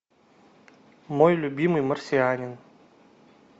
мой любимый марсианин